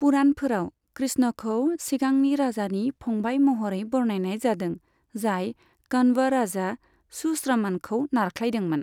पुराणफोराव, कृष्णखौ सिगांनि राजानि फंबाय महरै बरनायनाय जादों, जाय कन्व राजा सुश्रमणखौ नारख्लायदोंमोन।